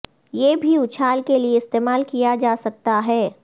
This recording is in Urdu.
یہ بھی اچھال کے لئے استعمال کیا جا سکتا ہے